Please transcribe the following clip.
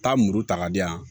Taa muru ta k'a di yan